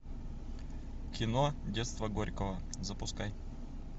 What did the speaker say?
кино детство горького запускай